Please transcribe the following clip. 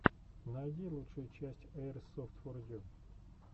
найди лучшую часть эйрсофтфорйу